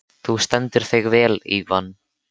Þú stendur þig vel, Ívan!